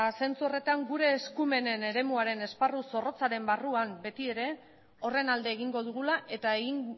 zentzu horretan gure eskumenen eremuaren esparru zorrotzarren barruan betiere horren alde egingo dugula eta egin